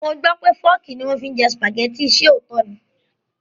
Mo gbó pé Fọ́ọ́kì ni wọ́n fi ń jẹ Sùpàgẹ́tì, ṣe òótọ́ ni?